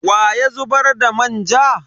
Wa ya zubar da manja?